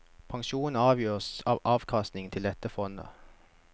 Pensjonen avgjøres av avkastningen til dette fondet.